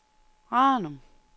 Ranum